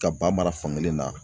Ka ba mara fankelen na